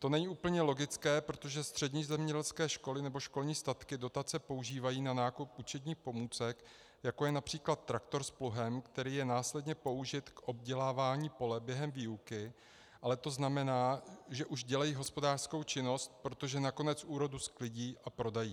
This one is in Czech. To není úplně logické, protože střední zemědělské školy nebo školní statky dotace používají na nákup učebních pomůcek, jako je například traktor s pluhem, který je následně použit k obdělávání pole během výuky, ale to znamená, že už dělají hospodářskou činnost, protože nakonec úrodu sklidí a prodají.